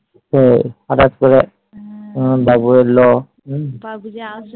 ও হটাৎ করে আহ বাবু এলো